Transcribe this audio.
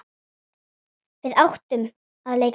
Við áttum að leika dýr.